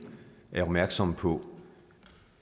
er opmærksomme på